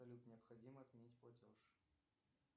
салют необходимо отменить платеж